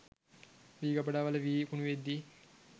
වී ගබඩාවල වී කුණුවෙද්දී